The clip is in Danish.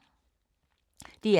DR K